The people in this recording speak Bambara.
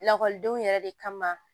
Lakɔlidenw yɛrɛ de kama